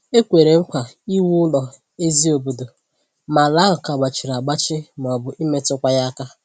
E kwèrè nkwa iwu ụlọ ezí obodo, ma ala ahụ ka gbachiri agbachi maọbụ imetụ kwa ya aka